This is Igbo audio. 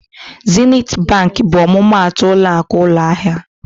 Zenit Bankị bụ ọmụmaatụ ụlọakụ ụlọahịa.